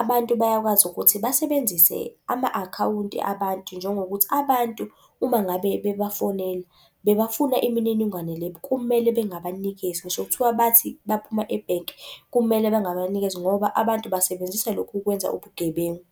Abantu bayakwazi ukuthi basebenzise ama-akhawunti abantu njengokuthi abantu uma ngabe bebafonela bebafuna imininingwane le kumele bengabanikezi, ngisho kuthiwa bathi baphuma ebhenki, kumele bangabanikezi, ngoba abantu basebenzise lokhu kwenza ubugebengu.